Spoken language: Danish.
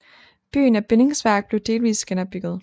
Byen af bindingsværk blev delvis genopbygget